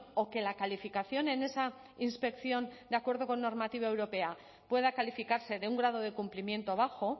o que la calificación en esa inspección de acuerdo con normativa europea pueda calificarse de un grado de cumplimiento bajo